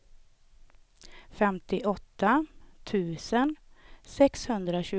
femtioåtta tusen sexhundratjugoett